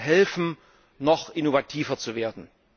Wir können ihnen helfen, noch innovativer zu werden.